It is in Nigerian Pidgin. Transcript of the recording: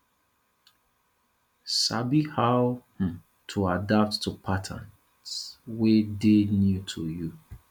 sabi how um to adapt to patterns wey dey new to you